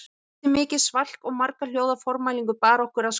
Eftir mikið svalk og marga hljóða formælingu bar okkur að skála